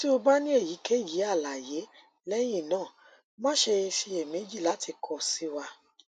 ti o ba ni eyikeyi alaye lẹhinna ma ṣe ṣiyemeji lati kọ si wa